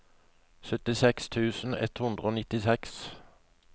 syttiseks tusen ett hundre og nittiseks